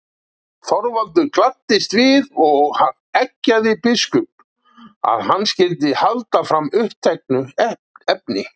Þorvaldur gladdist við og eggjaði biskup, að hann skyldi halda fram uppteknu efni.